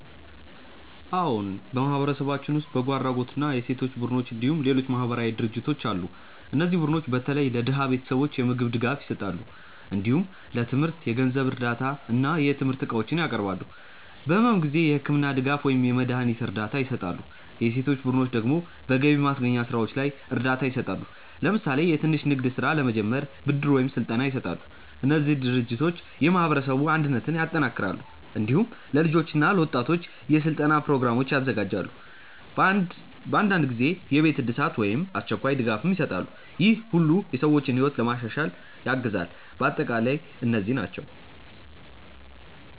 አዎን፣ በማህበረሰባችን ውስጥ በጎ አድራጎት እና የሴቶች ቡድኖች እንዲሁም ሌሎች ማህበራዊ ድርጅቶች አሉ። እነዚህ ቡድኖች በተለይ ለድሃ ቤተሰቦች የምግብ ድጋፍ ይሰጣሉ። እንዲሁም ለትምህርት የገንዘብ እርዳታ እና የትምህርት እቃዎች ያቀርባሉ። በሕመም ጊዜ የሕክምና ድጋፍ ወይም የመድሀኒት እርዳታ ይሰጣሉ። የሴቶች ቡድኖች ደግሞ በገቢ ማስገኛ ስራዎች ላይ እርዳታ ይሰጣሉ። ለምሳሌ የትንሽ ንግድ ስራ ለመጀመር ብድር ወይም ስልጠና ይሰጣሉ። እነዚህ ድርጅቶች የማህበረሰብ አንድነትን ያጠናክራሉ። እንዲሁም ለልጆች እና ለወጣቶች የስልጠና ፕሮግራሞች ያዘጋጃሉ። በአንዳንድ ጊዜ የቤት እድሳት ወይም አስቸኳይ ድጋፍም ይሰጣሉ። ይህ ሁሉ የሰዎችን ሕይወት ለማሻሻል ያግዛል። በአጠቃላይ እነዚህ ናቸው